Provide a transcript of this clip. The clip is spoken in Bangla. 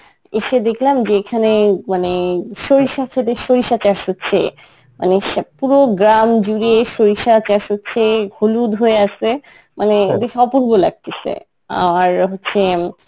এসে দেখলাম যে এখানে মানে সরিষা ক্ষেতে সরিষা চাষ হচ্ছে মানে স~ পুরো গ্রাম জুড়ে সরিষা চাষ হচ্ছে, হলুদ হয়ে আছে, মানে ও দেখে অপূর্ব লাগতিছে আর হচ্ছে